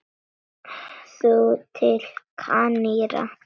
Þú til Kanarí?